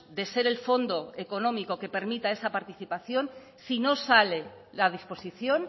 de ser el fondo económico que permita esa participación si no sale la disposición